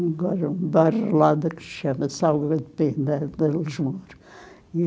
Agora é um bairro lá da Cristiana Salva de Pena, de Lisboa. E